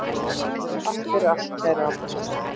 Takk fyrir allt, kæri Árni.